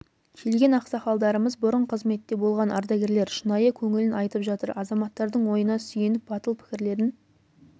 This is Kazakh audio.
келген ақсақалдарымыз бұрын қызметте болған ардагерлер шынайы көңілін айтып жатыр азаматтардың ойына сүйеніп батыл пікірлерін